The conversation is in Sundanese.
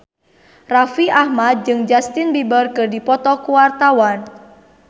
Raffi Ahmad jeung Justin Beiber keur dipoto ku wartawan